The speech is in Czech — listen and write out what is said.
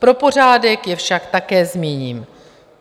Pro pořádek je však také zmíním.